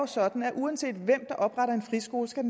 sådan at uanset hvem der opretter en friskole skal